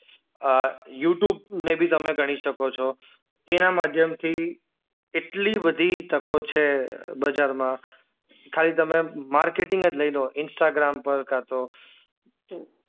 અ YouTube ને ભી તમે ગણી શકો છો એના માધ્યમથી એટલી બધી તકો છે બજારમાં ખાલી તમે માર્કેટિંગ જ લઈ લો ઇન્સ્ટાગ્રામ પર કા તો